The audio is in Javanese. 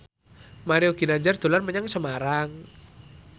Mario Ginanjar dolan menyang Semarang